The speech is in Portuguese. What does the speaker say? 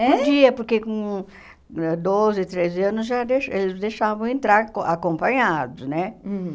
É? Podia, porque com ãh doze, treze anos, já deixa eles deixavam entrar com acompanhados, né? Hum